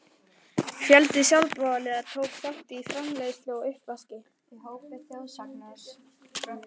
Fjöldi sjálfboðaliða tók þátt í framreiðslu og uppvaski.